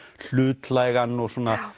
hlutlægan og